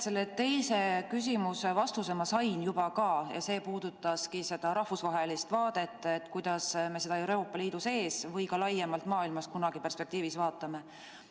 Selle teise küsimuse vastuse ma sain juba kätte ja see puudutaski seda rahvusvahelist vaadet, kuidas me seda Euroopa Liidu sees või ka laiemalt maailmas kunagi perspektiivis vaatame.